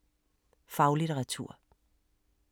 Faglitteratur